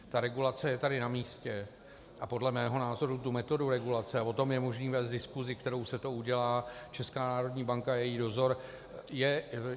Ta regulace je tady na místě a podle mého názoru tu metodu regulace, a o tom je možné vést diskusi, kterou se to udělá, Česká národní banka a její dozor.